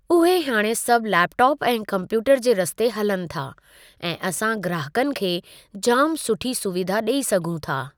उहे हाणे सभु लैपटोप ऐं कम्प्यूटर जे रस्ते हलनि था ऐं असां ग्राहकनि खे जाम सुठी सुविधा ॾेई सघूं था।